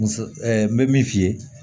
Muso n bɛ min f'i ye